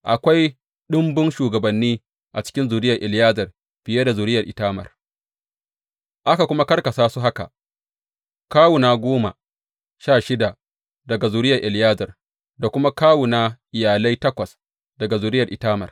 Akwai ɗumbun shugabanni a cikin zuriyar Eleyazar fiye da zuriyar Itamar, aka kuma karkasa su haka, kawuna goma sha shida daga zuriyar Eleyazar da kuma kawuna iyalai takwas daga zuriyar Itamar.